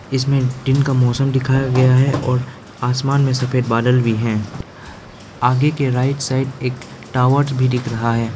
इसमें दिन का मौसम दिखाया गया है और आसमान में सफेद बादल भी हैं आगे के राइट साइड एक टावर भी दिख रहा है।